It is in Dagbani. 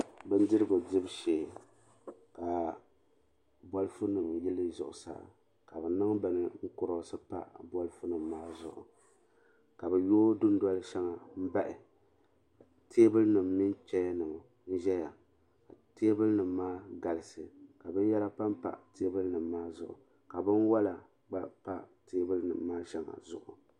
Bindirigu dibu shee ka bolifu nima yili zuɣusaa ka bɛ niŋ bini kuroosi pa bolifu nima maa zuɣu ka bɛ yoogi dindoli shɛŋa bahi teebuli nima mini cheya nima n zaya teebuli nima maa n galisi ka binyɛra pampa teebuli nima maa zuɣu ka binwola gba pa teebuli nima maa shɛŋa zuɣu.